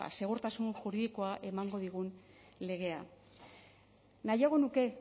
segurtasun juridikoa emango digun legea nahiago nuke